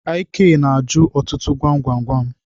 Ik na-ajụ ọtụtụ gwam gwam gwam.